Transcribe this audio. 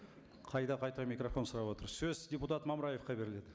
қайта қайта микрофон сұрап отыр сөз депутат мамыраевқа беріледі